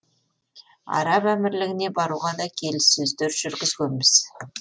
араб әмірлігіне баруға да келіссөздер жүргізгенбіз